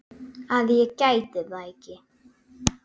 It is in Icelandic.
að ég geti þetta ekki.